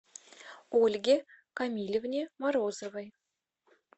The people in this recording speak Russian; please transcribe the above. ольге камилевне морозовой